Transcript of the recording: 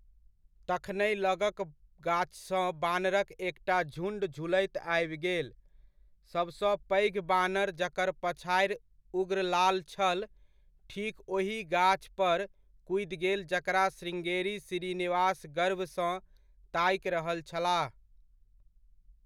तखनहि लगक गाछसँ बानरक एकटा झुण्ड झुलैत आबि गेल। सबसॅं पैघ बानर जकर पछाड़ि उग्र लाल छल ठीक ओहि गाछ पर कूदि गेल जकरा श्रृंगेरी श्रीनिवास गर्वसँ ताकि रहल छलाह।